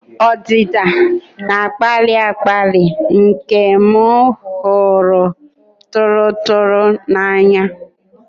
Ọdịdị na-akpali akpali nke m hụrụ tụrụ tụrụ m n'anya.